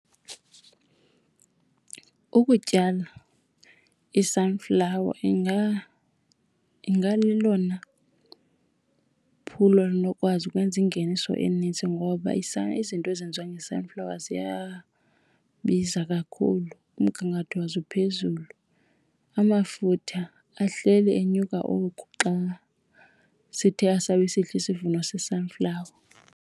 Ukutyala i-sunflower ingalelona phulo linokwazi ukwenza ingeniso eninzi ngoba izinto ezenziwa nge-sunflower ziyabiza kakhulu, umgangatho wazo uphezulu. Amafutha ahleli enyuka oku xa sithe asabi sihle isivuno se-sunflower.